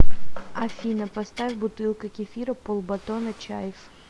афина поставь бутылка кефира полбатона чайф